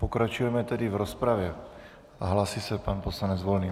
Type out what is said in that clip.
Pokračujeme tedy v rozpravě a hlásí se pan poslanec Volný.